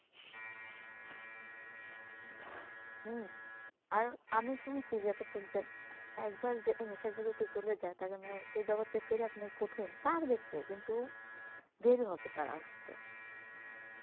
হম আর আমি শুনছি যে এতটুকু যে একবার যে এই নেশার জগতে চলে যায় তাকে আর এমনি সেই জগত থেকে ফিরে আসাটাই কঠিন পারবে সে কিন্তু দেরি হবে তার আসতে